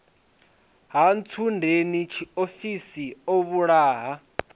ha ntsundeni tshiofhiso o vhulaha